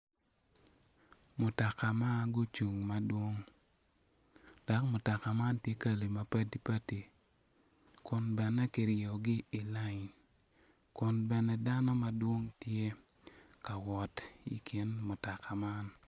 Mutaka ma gucung madwong dok mutoka man ti kali ma patpat kun bene ki ryeyogi i line kun bene dano madwong tye ka wot i kin mutoka man